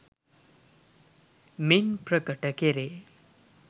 මින් ප්‍රකට කෙරේ.